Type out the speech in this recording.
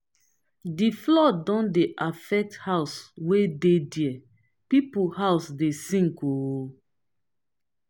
di flood don dey affect house wey dey there pipo house dey sink o.